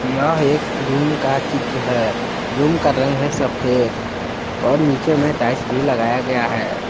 यह एक रूम का चित्र है रूम का रंग है सफेद और नीचे में टाइल्स भी लगाया गया है।